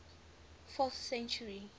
fourth century